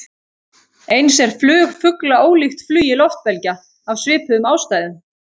Eins er flug fugla ólíkt flugi loftbelgja, af svipuðum ástæðum.